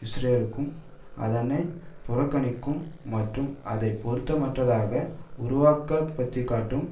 இஸ்ரேலுக்கும் அதை புறக்கணிக்கும் மற்றும் அதை பொருத்தமற்றதாக உருவகப்படுத்திக்காட்டும்